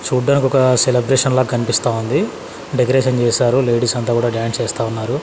చూడ్డానికి ఒక సెలబ్రేషన్ లా కనిపిస్తా ఉంది డెకరేషన్ చేశారు లేడీస్ అంతా కూడా డాన్స్ చేస్తా ఉన్నారు.